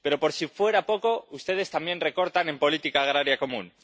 Pero, por si fuera poco, ustedes también recortan en política agraria común.